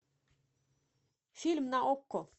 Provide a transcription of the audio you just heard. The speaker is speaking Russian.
фильм на окко